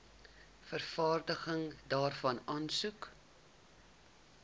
vervanging daarvan aansoek